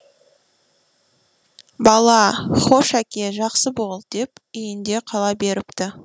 бала хош әке жақсы бол деп үйінде қала беріпті